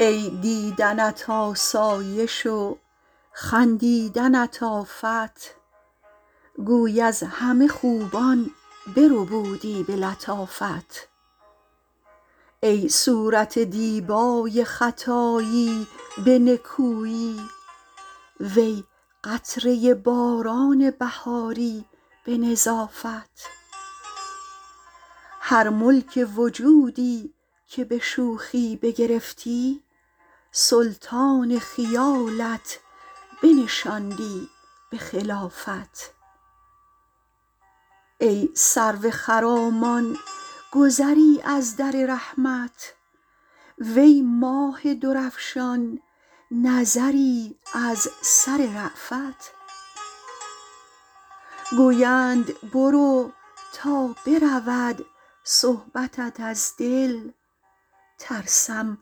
ای دیدنت آسایش و خندیدنت آفت گوی از همه خوبان بربودی به لطافت ای صورت دیبای خطایی به نکویی وی قطره باران بهاری به نظافت هر ملک وجودی که به شوخی بگرفتی سلطان خیالت بنشاندی به خلافت ای سرو خرامان گذری از در رحمت وی ماه درفشان نظری از سر رأفت گویند برو تا برود صحبتت از دل ترسم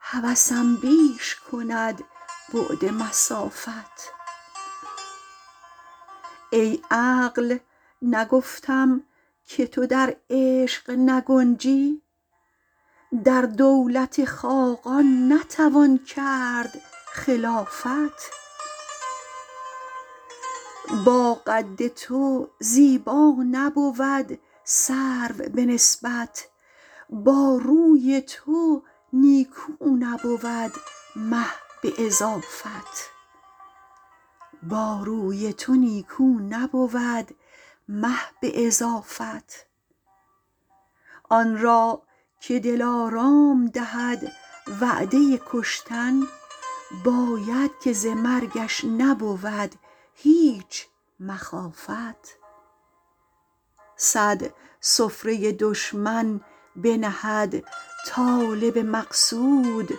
هوسم بیش کند بعد مسافت ای عقل نگفتم که تو در عشق نگنجی در دولت خاقان نتوان کرد خلافت با قد تو زیبا نبود سرو به نسبت با روی تو نیکو نبود مه به اضافت آن را که دلارام دهد وعده کشتن باید که ز مرگش نبود هیچ مخافت صد سفره دشمن بنهد طالب مقصود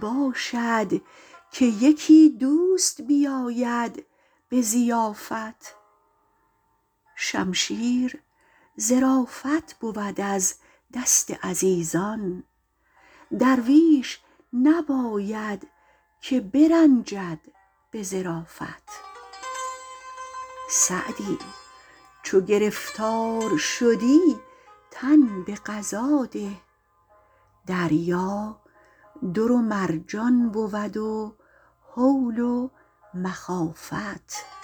باشد که یکی دوست بیاید به ضیافت شمشیر ظرافت بود از دست عزیزان درویش نباید که برنجد به ظرافت سعدی چو گرفتار شدی تن به قضا ده دریا در و مرجان بود و هول و مخافت